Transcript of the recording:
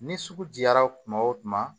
Ni sugu jara kuma o kuma